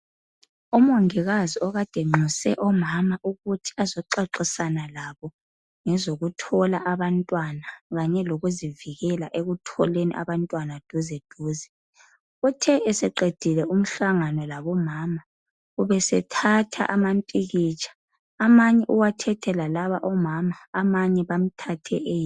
Umongikazi okade enxuse omama ukuthi azoxoxisana labo ngezoku thola abantwana kanye lokuzivikela ekutholeni abantwana duze duze, uthe eseqedile umhlangano labomama ubesethatha ama mpikitsha amanye uwathethe lalaba omama amanye bamthathe eyedwa.